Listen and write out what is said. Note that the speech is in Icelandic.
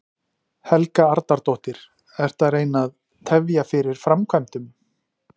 Helga Arnardóttir: Ertu að reyna að tefja fyrir framkvæmdum?